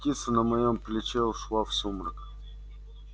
и птица на моём плече ушла в сумрак